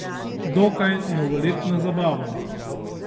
Dokaj novoletno zabavo.